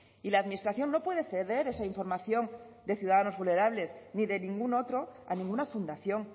y la administración no puede ceder esa información de ciudadanos vulnerables ni de ningún otro a ninguna fundación